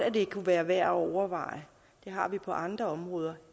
kunne være værd at overveje det har vi på andre områder